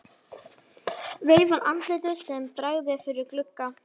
Veifar andliti sem bregður fyrir í glugga.